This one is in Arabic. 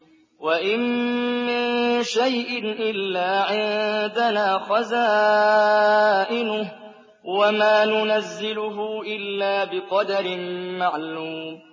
وَإِن مِّن شَيْءٍ إِلَّا عِندَنَا خَزَائِنُهُ وَمَا نُنَزِّلُهُ إِلَّا بِقَدَرٍ مَّعْلُومٍ